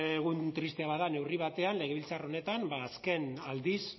egun tristea bada neurri batean legebiltzar honetan azken aldiz